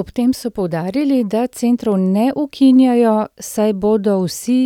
Ob tem so poudarili, da centrov ne ukinjajo, saj bodo vsi